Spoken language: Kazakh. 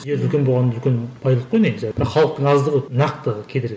жер үлкен болғаны үлкен байлық қой негізі бірақ халықтың аздығы нақты кедергі